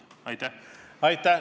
Aitäh!